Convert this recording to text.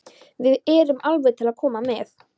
En við erum alveg til í að koma með.